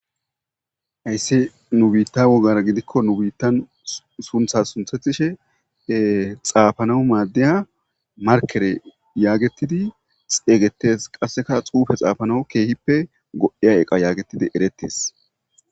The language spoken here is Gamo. ayssi nu biitta wogara gidikko nu biittan suntha sunthetishe xaafanawu maaddeya markere yaagetidi xeeygettes qasseka xuufe xaafanaw keehippe go7iya eqa yaagettidi eretes